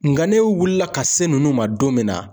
Nka ne wulila ka se ninnu ma don min na